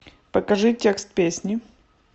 покажи текст песни